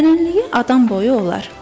Dərinliyi adam boyu olar.